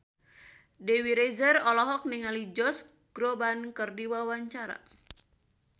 Dewi Rezer olohok ningali Josh Groban keur diwawancara